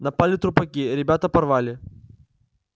напали трупаки ребята порвали